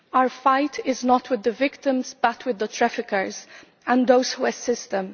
Our fight is not with the victims but with the traffickers and those who assist them.